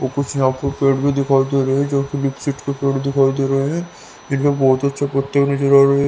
और कुछ यहां पर पेड़ भी दिखाई दे रहे हैं जो कि लिपसीट के पेड़ दिखाई दे रहे हैं इनमें बहुत अच्छे पत्ते नजर आ रहे हैं।